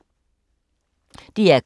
DR K